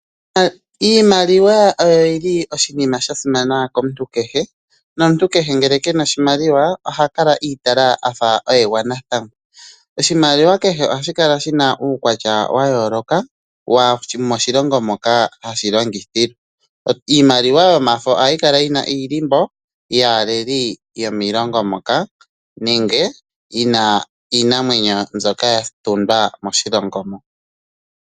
Iimaliwa oyo yili oshinima sha simana komuntu kehe, nomuntu kehe ngele kena oshimaliwa oha kala iitala afa oye gwanathangwa. Oshimaliwa kehe ohashi kala shina uukwatya wa yooloka womoshilongo moka hashi longithilwa. Iimaliwa yomafo ohayi kala yina iilimbo yaaleli yomiilongo moka nenge yina iinamwenyo mbyoka hayi adhika moshilongo mo.